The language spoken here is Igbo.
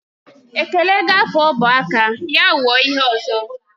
Ekele gaafe ọba aka ya wuo ihe ọzọ